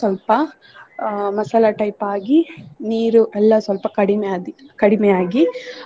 ಸ್ವಲ್ಪ ಅಹ್ ಮಸಾಲಾ type ಆಗಿ ನೀರು ಎಲ್ಲ ಸ್ವಲ್ಪ ಕಡಿಮೆ ಆಗಿ ಕಡಿಮೆ ಆಗಿ .